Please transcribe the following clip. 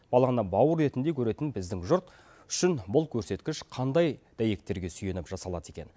баланы бауыр етіндей көретін біздің жұрт үшін бұл көрсеткіш қандай дәйектерге сүйеніп жасалады екен